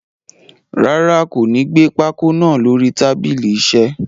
Rárá, kò ní gé pákó naa lórí tábìlì iṣẹ́.